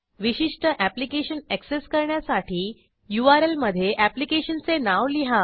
विशिष्ट application access करण्यासाठी URL मधे ऍप्लिकेशनचे नाव लिहा